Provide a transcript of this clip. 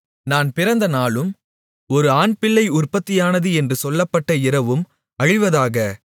நான் பிறந்தநாளும் ஒரு ஆண்பிள்ளை உற்பத்தியானது என்று சொல்லப்பட்ட இரவும் அழிவதாக